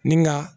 Ni ga